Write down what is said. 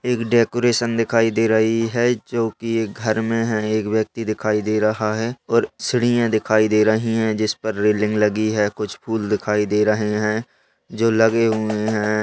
एक डेकोरेशन दिखाई दे रही है जो की एक घर में है एक व्यक्ति दिखाई दे रहा है और सीढ़ियां दिखाई दे रही है जिसपे रेलिंग लगी है कुछ फूल दिखाई दे रहे है जो लगे हुए है।